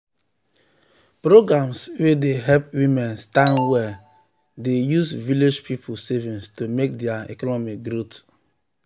programs wey dey help women stand well dey use village people savings to make their economy growth